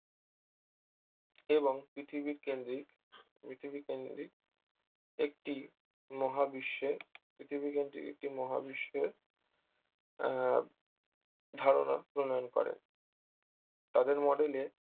এবং পৃথিবীকেন্দ্রিক পৃথিবী কেন্দ্রিক একটি মহাবিশ্বের পৃথিবীকেন্দ্রিক একটি মহাবিশ্বের আহ ধারণা প্রণয়ন করে তাদের model এ